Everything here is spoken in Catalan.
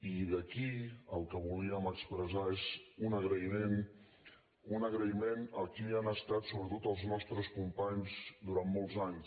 i d’aquí el que volíem expressar és un agraïment un agraïment a qui han estat sobretot els nostres companys durant molts anys